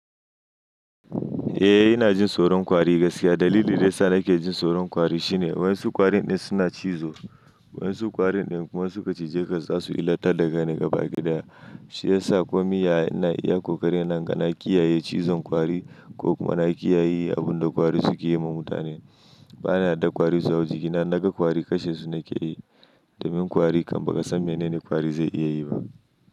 Eh, ina jin tsoron kwari gaskiya. Dalili daya sa nake jin tsoron kwari shine wayan su kwari din suna cizo. Wayan su kwari din kuma su ka cije ka za su illata daga ni gaba gida. Shi ya sa kwamiya ina iya kokari na gane kiyaye cizon kwari ko kuma na kiyaye abin da kwari suke yi ma mutane. Bana da kwari su hau jiki. Innaga kwari kashen su nake yi da min kwari kam bakasan menene kwari zai iya yi ba.